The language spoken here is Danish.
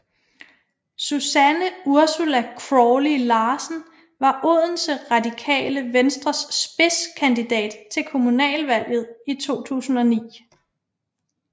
Susanne Ursula Crawley Larsen var Odense Radikale Venstres spidskandidat til kommunalvalget i 2009